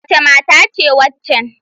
Wace mata ce waccan?